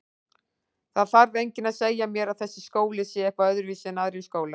Það þarf enginn að segja mér að þessi skóli sé eitthvað öðruvísi en aðrir skólar.